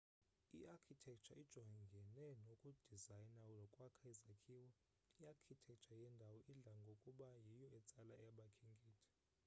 i-architecture ijongene nokudizayna nokwakha izakhiwo i-archictecture yendawo idla ngokuba yiyo etsala abakhenkethi